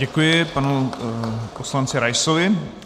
Děkuji panu poslanci Raisovi.